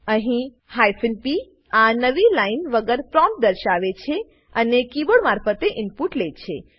અહી p આ નવી લાઈન વગર પ્રોમ્પ્ટ દર્શાવે છે અને કીબોર્ડ મારફતે ઈનપુટ લે છે